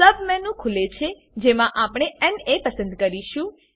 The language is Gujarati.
સબ મેનુ ખુલે છેજેમાં આપણે ના પસંદ કરીશું